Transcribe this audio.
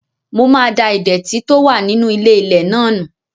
Mo máa da ìdẹ̀tì tó wà nínú ilé-ilẹ̀ náà nù